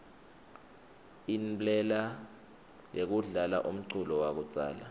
inblela yekudlala umculo yakudzala